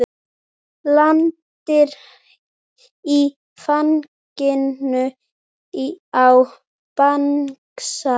Lendir í fanginu á bangsa.